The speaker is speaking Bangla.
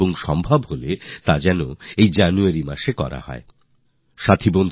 যদি সম্ভব হয় তাহলে জানুয়ারিতেই এই কর্মসুচির আয়োজন করুন